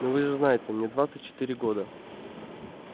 ну вы же знаете мне двадцать четыре года